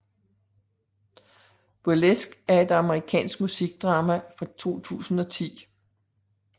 Burlesque er et amerikansk musikaldrama fra 2010